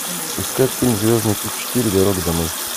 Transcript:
искать фильм звездный путь четыре дорога домой